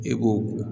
E ko